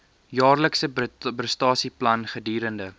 jaarlikse prestasieplan gedurende